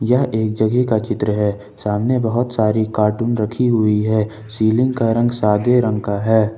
यह एक जगेह का चित्र है सामने बहुत सारी कार्टून रखी हुई है सीलिंग का रंग सादे रंग का है ।